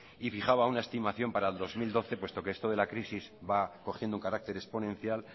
y fijaba una estimación para el dos mil doce puesto que esto de la crisis va cogiendo un carácter exponencial